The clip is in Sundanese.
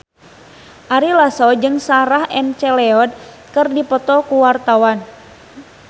Ari Lasso jeung Sarah McLeod keur dipoto ku wartawan